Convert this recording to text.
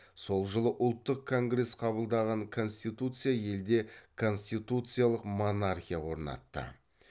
сол жылы ұлттық конгресс қабылдаған конституция елде конституциялық монархия орнатты